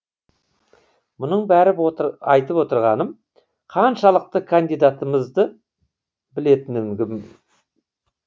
мұның бәрін айтып отырғаным қаншалықты кандидатымызды білетіндігім